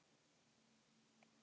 Unubakka